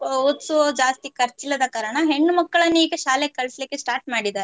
ಓದ್ಸುವ ಜಾಸ್ತಿ ಕರ್ಚಿಲ್ಲದ ಕಾರಣ ಹೆಣ್ಣು ಮಕ್ಕಳನ್ನೀಗ ಶಾಲೆಗೆ ಕಳಿಸ್ಲಿಕ್ಕೆ start ಮಾಡಿದ್ದಾರೆ.